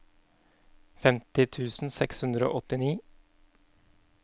femti tusen seks hundre og åttini